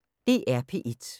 DR P1